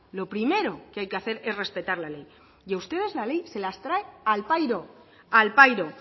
lo primero que hay que hacer es respetar la ley y a ustedes la ley se las trae al pairo al pairo